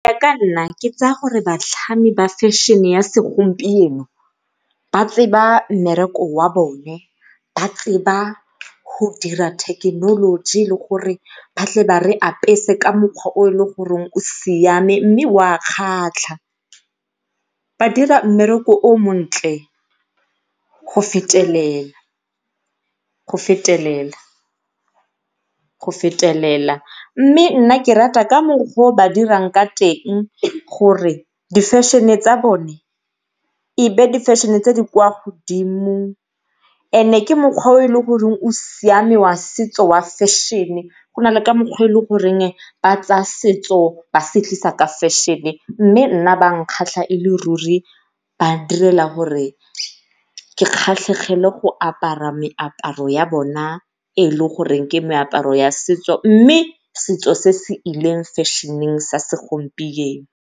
Go ya ka nna ke tsaya gore batlhami ba fashion-e ya segompieno ba tseba mmereko wa bona ba tseba go dira thekenoloji le gore ba tle ba re apese ka mokgwa o e le goreng o siame mme o a kgatlha. Ba dira mmereko o montle go fetelelela, go fetelela, go fetelela mme nna ke rata ka mokgwa o ba dirang ka teng gore di-fashion-e tsa bone ebe di-fashion-e tse di kwa godimo. E ne ke mokgwa o e leng gore o siame wa setso wa fashion-e go nale ka mokgwa o e le goreng ba tsaya setso ba se tlisa ka mokgwa wa fashion-e, mme nna ba nkgatlha e le ruri ba direla gore ke kgatlhegele go apara meaparo ya bona e e le goreng e ke meaparo ya setso mme setso se se ileng fashion-eng sa segompieno.